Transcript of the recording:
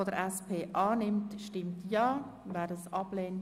Revision der obligatorischen Volksabstimmung unterstellen)